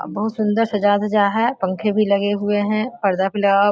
अ बहुत सुंदर सजा-धजा है पंखे भी लगे हुए हैं पर्दा भी लगा --